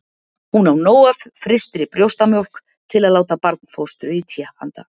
Hún á nóg af frystri brjóstamjólk til að láta barnfóstru í té handa